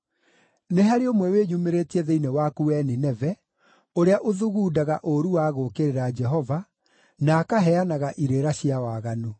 Nĩ harĩ ũmwe wĩyumĩrĩtie thĩinĩ waku wee Nineve, ũrĩa ũthugundaga ũũru wa gũũkĩrĩra Jehova, na akaheanaga irĩra cia waganu.